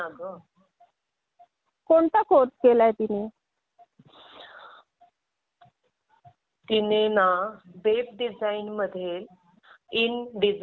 हो ग आणि माझ्या मैत्रिणीच्या मुलीने कंप्युटर कोर्स केला आहे तरी तिला नोकरी नाही आहे.